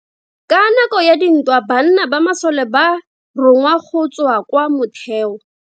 Ka nako ya dintwa banna ba masole ba rongwa go tswa kwa motheo.